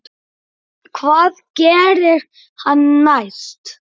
Hvað gerir hann næst?